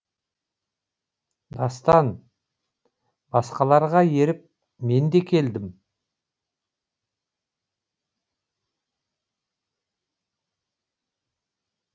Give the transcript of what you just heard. дастан басқаларға еріп мен де келдім